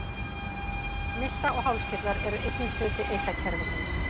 Milta og hálskirtlar eru einnig hluti eitlakerfisins.